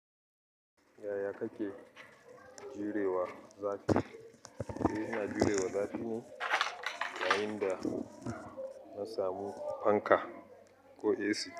Yaya kake jurewa zafi. Eh ina jure wa zafi ne yayin da na samu fanka ko AC.